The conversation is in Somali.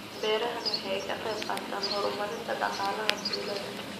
Beerahani waxa ay ka qayb qaataan horumarinta dhaqaalaha tuulada.